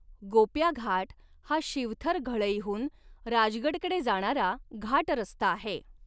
गोप्या घाट हा शिवथर घळईहून राजगड कडे जाणारा घाट रस्ता आहे.